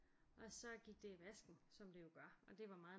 Og så gik det i vasken som det jo gør og det var meget